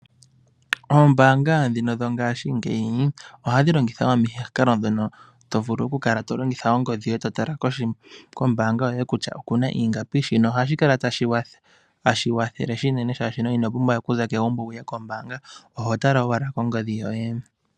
Oombaanga ndhino dho ngaashingeyi, oga dhi longitha omikalo dhono to vulu oku kala to tala kongodhi yoye, kombaanga yoye kutya oku na ingapi. Shino ohashi wathele unene, oshoka omuntu, ino pumbwa we okuza mo megumbo to yi ko mbaanga, ihe oho tala ashike kongodhi yoye.